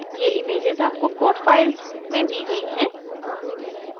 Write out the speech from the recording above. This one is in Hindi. ये images आपको code files में दी गयी हैं